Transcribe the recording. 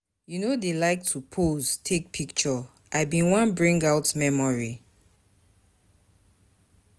You no dey like to pose take picture, I bin wan bring out memory.